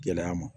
Gɛlɛya ma